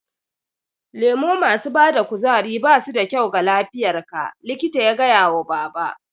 Lemo masu bada kuzari basu da kyau ga lafiyar ka, likita ya gaya wa baba